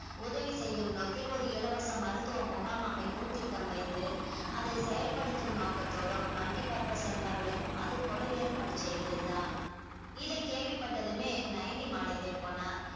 உதவி செய்யும் நோக்கில் ஒரு இலவச மருத்துவ முகாம் அமைக்கவும் திட்டம் வைத்து அதை செயல்படுத்தும் நோக்கத்தோடும் multipurpose என்பார்களே அதுபோல ஏற்பாடு செய்திருந்தான் இதைக் கேள்விப்பட்டதுமே நயனி மலைத்தே போனாள்